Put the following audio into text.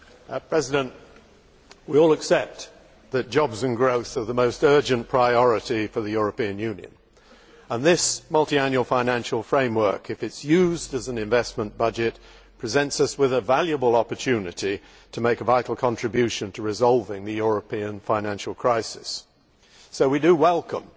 Mr President, we all accept that jobs and growth are the most urgent priority for the European Union, and this multiannual financial framework, if it is used as an investment budget, presents us with a valuable opportunity to make a vital contribution to resolving the European financial crisis. So we do welcome